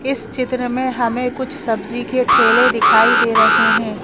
इस चित्र में हमें कुछ सब्जी के ठेले दिखाई दे रहे हैं।